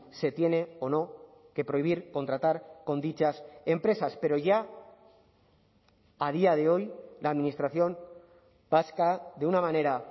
se tiene o no que prohibir contratar con dichas empresas pero ya a día de hoy la administración vasca de una manera